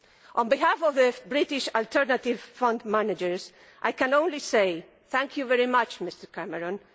On behalf of British alternative fund managers, I can only say thank you very much, Mr Cameron.